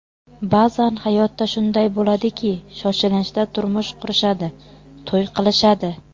Ba’zan hayotda shunday bo‘ladiki, shoshilinchda turmush qurishadi, to‘y qilishadi.